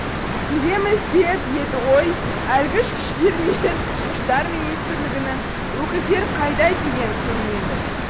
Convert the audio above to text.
келеміз деп еді ғой әлгі ішкіштер мен тышқыштар министрлігінің өкілдері қайда деген көрінеді